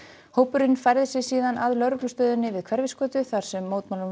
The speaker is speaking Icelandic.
hópurinn færði sig síðan að lögreglustöðinni við Hverfisgötu þar sem mótmælum